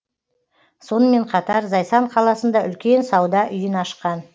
сонымен қатар зайсан қаласында үлкен сауда үйін ашқан